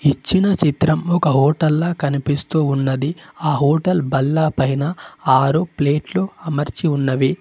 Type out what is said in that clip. ఇచ్చిన చిత్రం ఒక హోటల్లా కనిపిస్తూ ఉన్నది ఆ హోటల్ బల్లపైన ఆరు ప్లేట్లు అమర్చి ఉన్నవి.